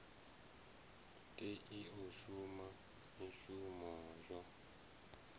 tei u shuma mishumo yo